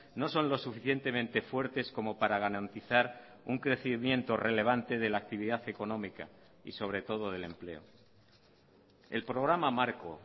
no son los suficientemente fuertes como para garantizar un crecimiento relevante de la actividad económica y sobretodo del empleo el programa marco